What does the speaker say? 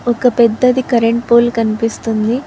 ఒక పెద్దది current pole కనిపిస్తుంది.